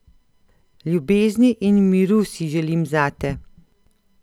Ljubezni in miru si želim zate.